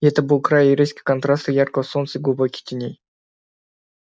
и это был край резких контрастов яркого солнца и глубоких теней